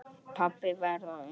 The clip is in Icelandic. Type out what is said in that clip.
Pabbi varð á undan.